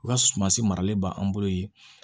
U ka sumansi maralen ba an bolo yen